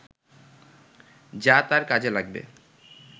যা তার কাজে লাগবে